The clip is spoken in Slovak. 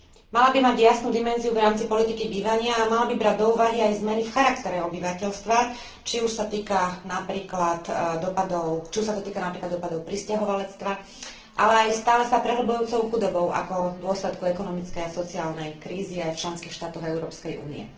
Mala by mať jasnú dimenziu v rámci politiky bývania a mala by brať do úvahy aj zmeny v charaktere obyvateľstva, či už sa to týka napríklad dopadov prisťahovalectva, ale aj stále sa prehlbujúcou chudobou ako dôsledku ekonomickej a sociálnej krízy aj v členských štátoch Európskej únie.